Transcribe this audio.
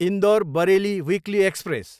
Indore, Bareilly weekly express